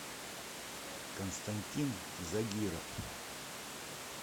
константин загиров